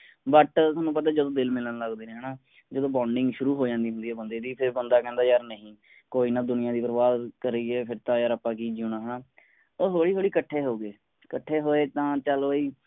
but ਤੁਹਾਨੂੰ ਪਤਾ ਹੈ ਜਦੋਂ ਦਿਲ ਮਿਲਣ ਲੱਗਦੇ ਹੈਂ ਹੈ ਨਾ ਜਦੋਂ bonding ਸ਼ੁਰੂ ਹੋ ਜਾਂਦੀ ਹੈ ਬੰਦੇ ਦੀ ਫੇਰ ਬੰਦਾ ਕਹਿੰਦਾ ਯਾਰ ਨਹੀਂ ਕੋਈ ਨਾ ਦੁਨੀਆ ਦੀ ਪਰਵਾਹ ਕਰੀਏ ਫੇਰ ਤਾਂ ਆਪਾਂ ਕੀ ਜਿਊਣਾ ਹੈ ਨਾ। ਉਹ ਹੋਲੀ ਹੋਲੀ ਇੱਕਠੇ ਹੋ ਗਏ ਇੱਕਠੇ ਹੋਏ ਤਾਂ ਚਲ ਬਈ